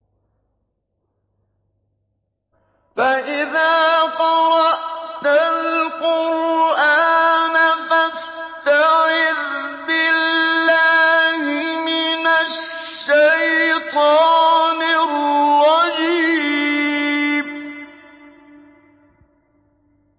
فَإِذَا قَرَأْتَ الْقُرْآنَ فَاسْتَعِذْ بِاللَّهِ مِنَ الشَّيْطَانِ الرَّجِيمِ